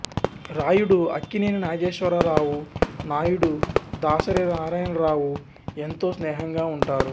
రాయుడు అక్కినేని నాగేశ్వరరావు నాయుడు దాసరి నారాయణరావు ఎంతో స్నేహంగా ఉంటారు